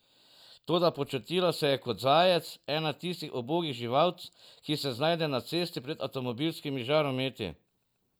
Toda počutila se je kot zajec, ena tistih ubogih živalc, ki se znajdejo na cesti pred avtomobilskimi žarometi.